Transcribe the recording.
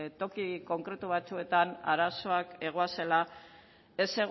toki konkretu batzuetan arazoak egoazela ez